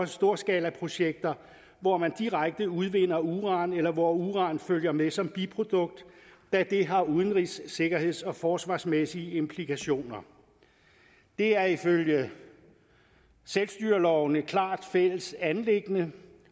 storskalaprojekter hvor man direkte udvinder uran eller hvor uran følger med som biprodukt da det har udenrigs sikkerheds og forsvarsmæssige implikationer det er ifølge selvstyreloven et klart fælles anliggende